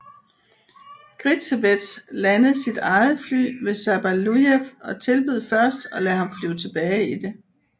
Gritsevets landede sit eget fly ved Sabalujev og tilbød først at lade ham flyve tilbage i det